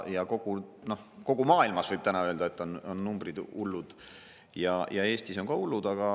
Kogu maailmas, võib täna öelda, on numbrid hullud ja Eestis on ka hullud.